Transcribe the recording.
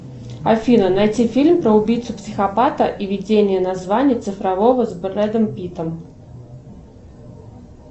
афина найти фильм про убийцу психопата и видения названия цифрового с брэдом питтом